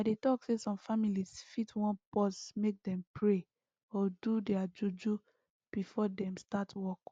i dey talk say some families fit wan pause make dem pray or do their juju before dem start work